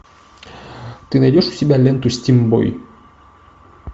ты найдешь у себя ленту стим бой